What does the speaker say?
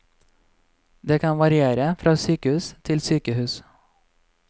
Den kan variere fra sykehus til sykehus.